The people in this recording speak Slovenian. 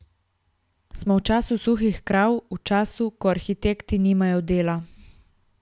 Smo v času suhih krav, v času, ko arhitekti nimajo dela.